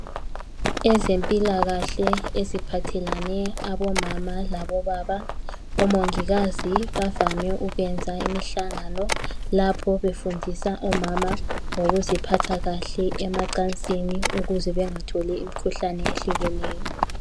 Ezempilakahle eziphathalane abomama labobaba umongikazi bavame ukwenza imihlangano lapho befundisa omama ngokuziphatha kahle emacasini ukuze bengatholi imikhuhlane ehlukeneyo.